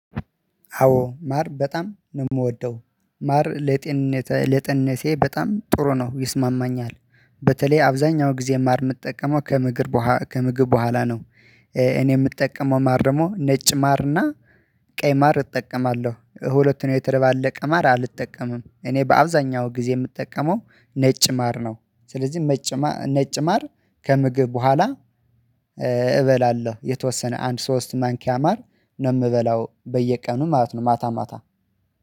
አዎ ማር በጣም ነው የምወደው ማር ለጤንነቴ በጣም ጥሩ ነው ይስማማኛል። በተለይ አብዛኛው ጊዜ ማር የምጠቀመው ከምግብ ከምግብ በኋላ ነው። እኔ የምጠቀመው ማር ደግሞ ነጭ ማርና ቀይ ማር እጠቀማለሁ ሁለቱን የተደባለቀ አልጠቀምም እኔ በአብዛኛው ጊዜ የምጠቀመው ነጭ ማር ነው። ስለዚህ ነጭ ማር ከምግብ በኋላ እበላለሁ የተወሰነ አንድ ሶስት ማንኪያ ማር ነው የምበላው በየቀኑ ማለት ነው። ማታ ማታ